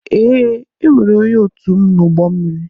Ee, enwere m onye otum n'ụgbọ mmiri